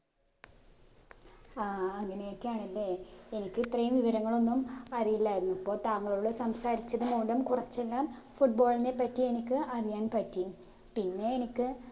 ആ അങ്ങനെയൊക്കെയാണ് അല്ലെ എനിക്ക് ഇത്രേം വിവരങ്ങളൊന്നും അറിയില്ലായിരുന്നു ഇപ്പൊ താങ്കളോട് സംസാരിച്ചത് മൂലം കുറച്ചെല്ലാം foot ball നെ പറ്റി എനിക്ക് അറിയാൻ പറ്റി പിന്നെ എനിക്ക്